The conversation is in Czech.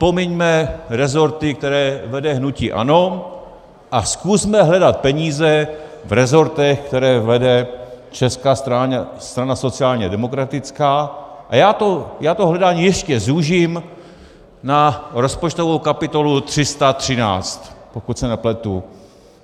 Pomiňme rezorty, které vede hnutí ANO, a zkusme hledat peníze v rezortech, které vede Česká strana sociálně demokratická, a já to hledání ještě zúžím na rozpočtovou kapitolu 313 - pokud se nepletu.